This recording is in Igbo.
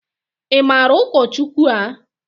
I maara ụkọchukwu a?